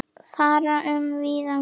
Fara um víðan völl.